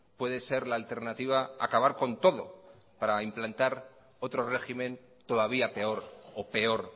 puede ser la alternativa acabar con todo para implantar otro régimen todavía peor o peor